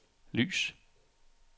lys